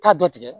Taa dɔ tigɛ